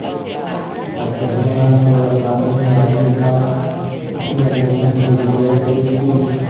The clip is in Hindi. अतएव वह पूरा कानूनी आदमी था उसने जुम्मन से जिरह शुरू की